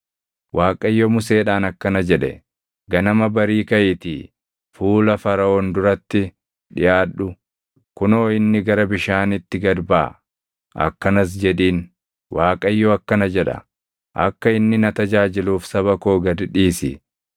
Waaqayyo Museedhaan akkana jedhe; “Ganama barii kaʼiitii fuula Faraʼoon duratti dhiʼaadhu; kunoo inni gara bishaanitti gad baʼa; akkanas jedhiin; ‘ Waaqayyo akkana jedha: Akka inni na tajaajiluuf saba koo gad dhiisi.